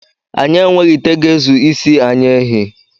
Anyị enweghị ite ga-ezu isi ozu any ehi